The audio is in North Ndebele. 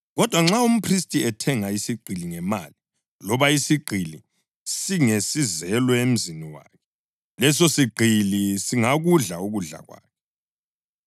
Kodwa nxa umphristi ethenga isigqili ngemali, loba isigqili singesizelwe emzini wakhe, lesosigqili singakudla ukudla kwakhe.